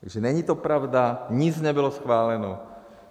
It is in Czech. Takže není to pravda, nic nebylo schváleno.